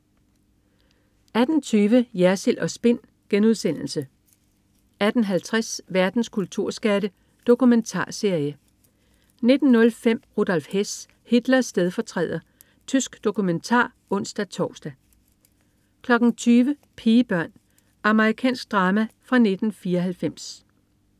18.20 Jersild & Spin* 18.50 Verdens kulturskatte. Dokumentarserie 19.05 Rudolf Hess. Hitlers stedfortræder. Tysk dokumentar (ons-tors) 20.00 Pigebørn. Amerikansk drama fra 1994